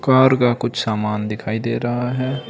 Car का कुछ सामान दिखाई दे रहा है।